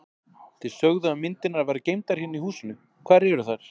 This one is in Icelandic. Þið sögðuð að myndirnar væru geymdar hérna í húsinu, hvar eru þær?